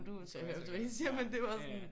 Ja ja det gør jeg også